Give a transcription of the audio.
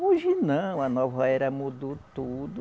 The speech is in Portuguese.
Hoje não, a nova era mudou tudo.